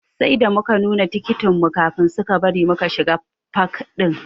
Sai da muka nuna tikitin mu kafin suka bari muka shiga fak ɗin.